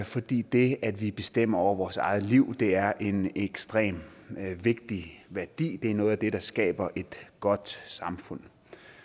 fordi det at vi bestemmer over vores eget liv er en ekstremt vigtig værdi det er noget af det der skaber et godt samfund